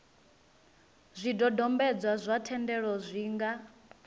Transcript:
zwidodombedzwa zwa thendelo zwi nga